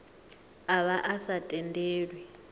a vha a sa tendelwi